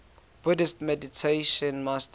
buddhist meditation master